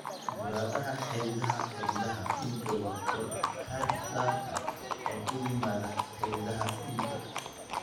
Burada xididada xididada dhiigga waa koradh xad-dhaaf ah oo ku yimaadda xididdada dhiigga.